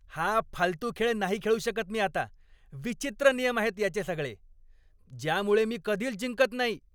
हा फालतू खेळ नाही खेळू शकत मी आता. विचित्र नियम आहेत याचे सगळे, ज्यामुळे मी कधीच जिंकत नाही.